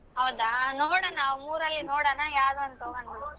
ಹೌದಾ ನೋಡೋಣ ಅವ್ ಮೂರಲ್ಲಿ ನೋಡೋಣ ಯಾವ್ದಂತ ಹೋಗೋಣ ಬಿಡು.